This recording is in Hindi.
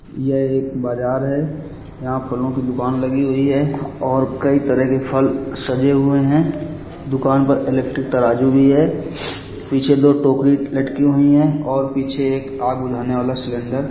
यह एक बाजार है यहाँ फलों की दुकान लगी हुई है और कई तरह के फल सजे हुए है दुकान पर इलेक्ट्रिक तराजू भी है पीछे दो टोकरी लटकी हुई है और पीछे एक आग बुझाने वाला सिलेंडर --